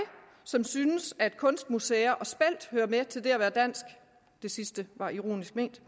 som synes at kunstmuseer og spelt hører med til det at være dansk det sidste var ironisk ment